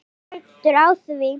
Ekki stendur á því.